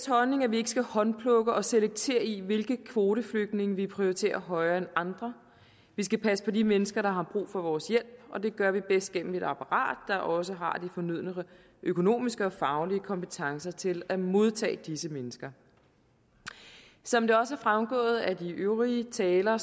holdning at vi ikke skal håndplukke og selektere i hvilke kvoteflygtninge vi prioriterer højere end andre vi skal passe på de mennesker der har brug for vores hjælp og det gør vi bedst gennem et apparat der også har de fornødne økonomiske og faglige kompetencer til at modtage disse mennesker som det også er fremgået af de øvrige talere